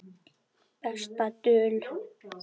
Besta dul